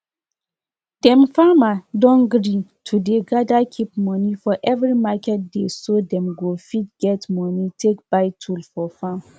all animal must collect injection collect injection before dem fit join others for the ground wet dem they share food together.